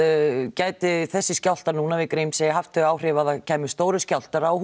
gæti þessi skjálftar núna við Grímsey haft þau áhrif að það kæmu stórir skjálftar á